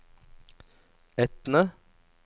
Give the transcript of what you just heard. Etne